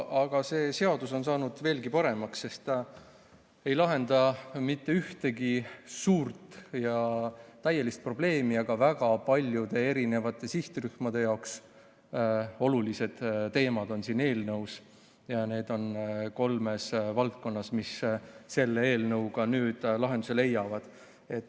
Aga see seadus on saanud veelgi paremaks, sest ta ei lahenda küll mitte ühtegi suurt ja täielist probleemi, aga väga paljude sihtrühmade jaoks olulised teemad selle eelnõuga nüüd lahenduse leiavad.